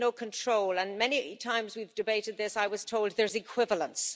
We have no control, and many times when we've debated this I've been told there is equivalence.